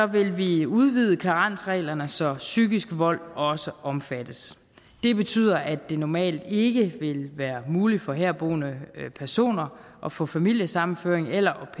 vil vi udvide karensreglerne så psykisk vold også omfattes det betyder at det normalt ikke vil være muligt for herboende personer at få familiesammenføring eller